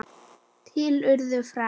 Til urðu fræ.